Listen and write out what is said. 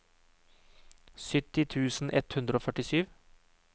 sytti tusen ett hundre og førtisju